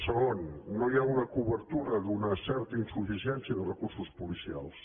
segon no hi ha una cobertura d’una certa insuficiència de recursos policials